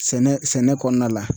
Sɛnɛ sɛnɛ kɔnɔna la